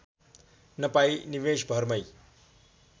नपाई निमेषभरमै